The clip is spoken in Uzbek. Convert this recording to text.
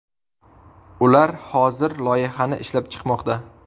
Ular hozir loyihani ishlab chiqmoqda.